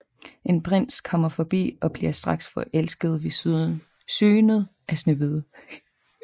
En prins kommer forbi og bliver straks forelsket ved synet af Snehvide